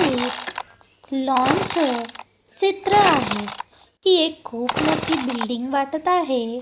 एक लॉनचं चित्र आहे ही एक खूप मोठी बिल्डिंग वाटत आहे.